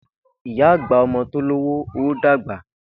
Ìyá agba-ọmọ-tọ́ ló wò ó dàgba.